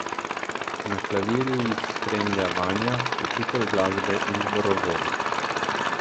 Na klavirju jih spremlja Vanja, učitelj glasbe in zborovodja.